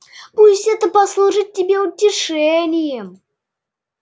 пусть это послужит тебе утешением